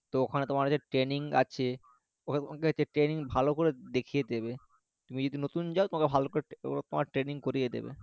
তো ওখানে তোমার হচ্ছে training আছে ওখানে training ভালো করে দেখিয়ে দেবে তুমি যদি নতুন যাও তোমাকে ভালো করে training করিয়ে দেবে